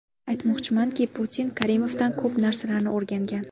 Aytmoqchimanki, Putin Karimovdan ko‘p narsalarni o‘rgangan.